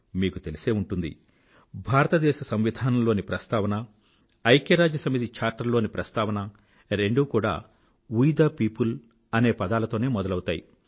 మీకు తెలిసే ఉంటుంది భారతదేశ సంవిధానంలోని ప్రస్థావన ఐక్యరాజ్య సమితి చార్టర్ లోని ప్రస్థావన రెండూ కూడా వే తే పియోపుల్ అనే పదాలతోనే మొదలవుతాయి